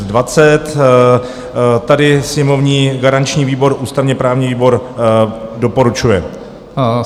Tady sněmovní garanční výbor ústavně-právní výbor doporučuje.